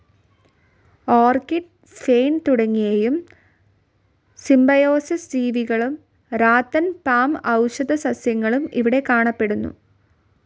Orchid, fern തുടങ്ങിയയും symbiosis ജീവികളും rattan, palm, ഔഷധ സസ്യങ്ങളും ഇവിടെ കാണപ്പെടുന്നു.